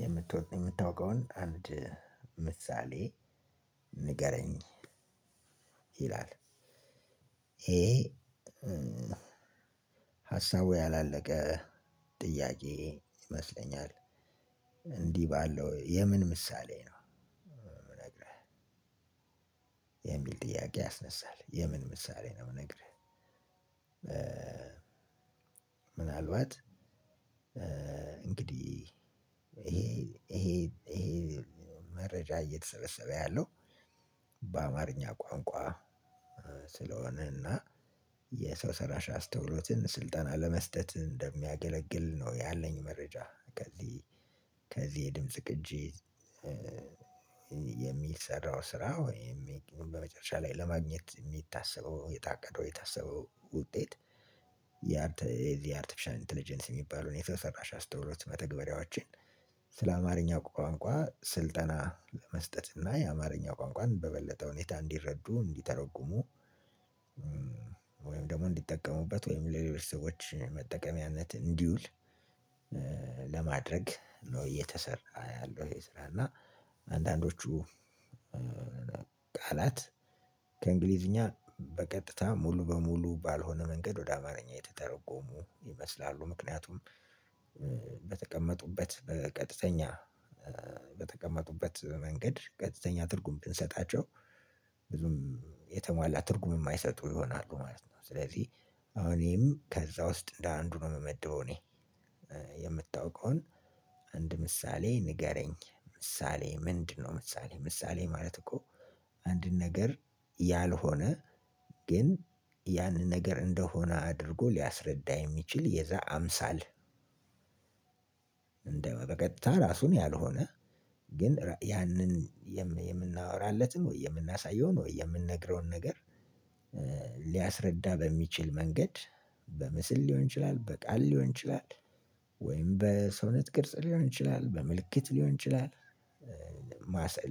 የምትወድ የሚታወቀውን አንድ ምሳሌ ንገረኝ ይላል? ሀሳቡ ያላለቀ ጥያቄ ይመስለኛል። እንዲህ ባለው የምን ምሳሌ ነው የሚል ጥያቄ ያስነሳል የምን ምሳሌ ነው የሚል። ምናልባት እንግዲህ ይሄ ይሄ መረጃ እየተሰበሰበ ያለው በአማርኛ ቋንቋ ስለሆነና የሰው ሰላሽ አስተውሎትን ስልጣን ለመስጠት እንደሚያገለግል ነው ያለኝ መረጃ ከዚህ ከዚህ የድምጽ ቅጂ። የሚል የሚሰራው ስራ ወይም በመጨረሻ ላይ ለማግኘት የሚታሰበው የታቀደው የታሰበው ውጤት። ያርተፊሻል ኢንተለጀንስ የሚባለውን የተሰራ አስተውሎት መተግበሪያዎችን ስለ አማርኛ ቋንቋ ስልጠና ለመስጠት እና የአማርኛ ቋንቋን በበለጠ ሁኔታ እንዲረዱ እንዲተረጉሙ ደግሞ እንዲጠቀሙበት ወይም ለሌሎች ሰዎች መጠቀሚያነት እንዲውል። ለማድረግ ነው እየተሰራ ያለው። ይሄ ስራ እና አንዳንዶቹ ከእንግሊዘኛ በቀጥታ ሙሉ በሙሉ ባልሆነ መንገድ ወደ አማረኛ ያልተተረጎሙ ይመስላሉ። ምክያቱም በተቀመጡበት በቀጥተኛ በተቀመጡበት መንገድ ቀጥተኛ ትርጉም ብንሰጣቸው ብዙም የተሟላ ትርጉም የማይሰጡ ይሆናሉ ማለት ነው። ስለዚህ አሁን ይሄም ከዛ ውስጥ እንደ አንዱ ነው የምመድበው እኔ። የምታውቀውን አንድ ምሳሌ ንገረኝ ምሳሌ ምንድነው? ምሳሌ ምሳሌ ማለት እኮ አንድን ነገር ያልሆነ ግን ያን ነገር እንደሆነ አድርጎ ሊያስረዳ የሚችል የዛ አምሳል። እንደው በቀጥታ ራሱን ያልሆነ ግን ያንን የምናወራለትን ወይ የምናሳየውን ወይ የምንነግረውን ነገር። ሊያስረዳ በሚችል መንገድ በምስል ሊሆን ይችላል በቃል ሊሆን ይችላል ወይም በሰውነት ቅርጽ ሊሆን ይችላል በምልክት ሊሆን ይችላል።